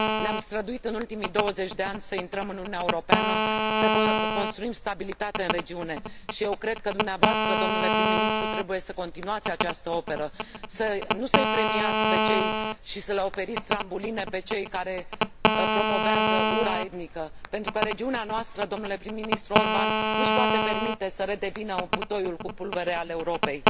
Ne am străduit în ultimii 20 de ani să intrăm în Uniunea Europeană, să construim stabilitate în regiune, și eu cred că dumneavoastră, domnule prim ministru, trebuie să continuați această operă, nu să i premiați și să le oferiți trambuline celor care promovează ura etnică, pentru că regiunea noastră, domnule prim ministru Orbán, nu și poate permite să redevină butoiul cu pulbere al Europei.